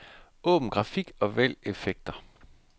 Åbn grafik og vælg effekter.